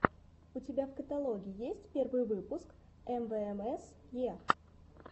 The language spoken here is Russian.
у тебя в каталоге есть первый выпуск эмвээмэсе